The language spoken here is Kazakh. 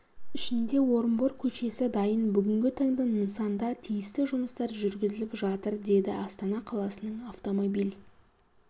ішінде орынбор көшесі дайын бүгінгі таңда нысанда тиісті жұмыстар жүргізіліп жатыр деді астана қаласының автомобиль